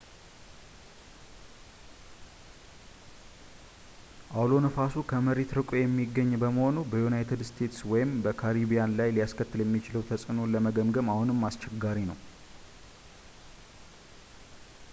አውሎ ነፋሱ ከመሬት ርቆ የሚገኝ በመሆኑ በዩናይትድ እስቴትስ ወይም በካሪቢያን ላይ ሊያስከትል የሚችለውን ተጽዕኖ ለመገምገም አሁንም አስቸጋሪ ነው